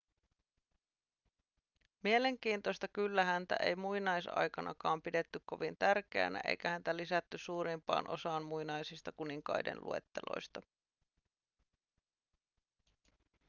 mielenkiintoista kyllä häntä ei muinaisaikaan pidetty kovin tärkeänä eikä häntä lisätty suurimpaan osaan muinaisista kuninkaiden luetteloista